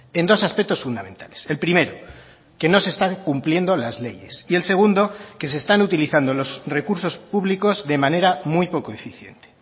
en dos aspectos fundamentales el primero que no se está cumpliendo las leyes y el segundo que se están utilizando los recursos públicos de manera muy poco eficiente